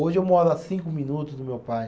Hoje eu moro a cinco minutos do meu pai.